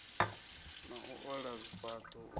na u ola zwifhaṱo u